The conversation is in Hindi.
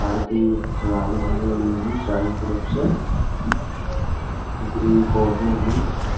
पार्किंग चारों तरफ से ग्रीन पोधे है ।